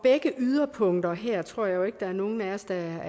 af yderpunkterne her tror jeg jo der er nogen af os der er